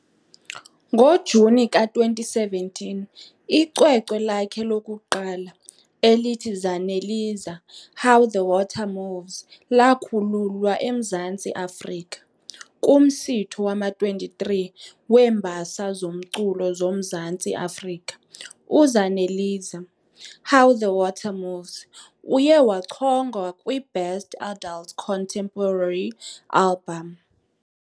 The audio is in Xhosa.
NgoJuni ka-2017, icwecwe lakhe lokuqala "elithi Zaneliza- How The Water Moves" lakhululwa eMzantsi Afrika. Kumsitho wama- 23 weeMbasa zoMculo zoMzantsi Afrika "uZaneliza- How The Water Moves" uye wachongwa kwi-Best Adult Contemporary Album.